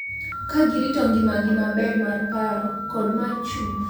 Ka girito ngimagi maber mar paro kod mar chuny .